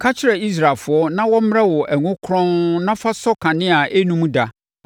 “Ka kyerɛ Israelfoɔ na wɔmmrɛ wo ngo kronn na fa sɔ kanea a ɛnnum da,